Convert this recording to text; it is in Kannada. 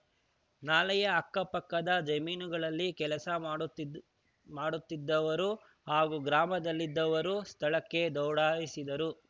ನಾಲೆಯ ಅಕ್ಕಪಕ್ಕದ ಜಮೀನುಗಳಲ್ಲಿ ಕೆಲಸ ಮಾಡುತ್ತಿದ್ದ್ ಮಾಡುತ್ತಿದ್ದವರು ಹಾಗೂ ಗ್ರಾಮದಲ್ಲಿದ್ದವರು ಸ್ಥಳಕ್ಕೆ ದೌಡಾಯಿಸಿದರು